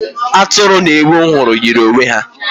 Atụrụ na ewu ahụ m hụrụ yiri onwe ha.